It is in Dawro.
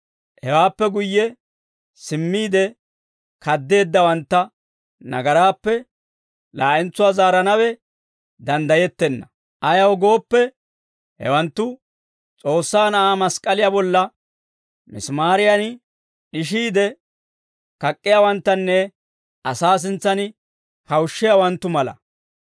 hewaappe guyye simmiide kaddeeddawantta nagaraappe laa'entsuwaa zaaranawe danddayettenna. Ayaw gooppe, hewanttu S'oossaa Na'aa mask'k'aliyaa bolla misimaariyan d'ishiide kak'k'iyaawanttanne asaa sintsan kawushshiyaawanttu mala.